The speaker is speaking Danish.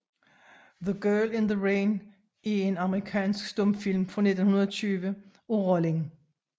The Girl in the Rain er en amerikansk stumfilm fra 1920 af Rollin S